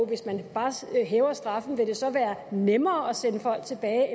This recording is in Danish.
hvis man bare hæver straffen vil det så være nemmere eller sværere at sende folk tilbage